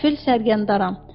Səfir Sərgəndaram.